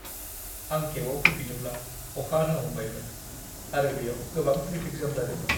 आं केबआव फैफिनोब्ला, अखा हानो हमबायमोन आरो बेयाव गोबां ट्रेफिक जाम जादोंमोन।